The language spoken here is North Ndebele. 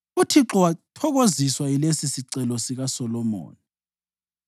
UThixo wathokoziswa yilesisicelo sikaSolomoni.